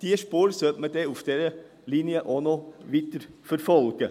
Diese Spur sollte man auf dieser Linie weiterverfolgen.